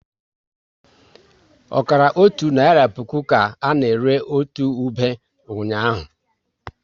Ọkara otu naira puku ka na ere otu ube ụnyaahụ